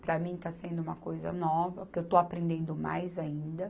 Para mim está sendo uma coisa nova, porque eu estou aprendendo mais ainda.